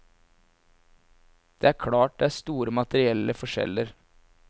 Det er klart det er store materielle forskjeller.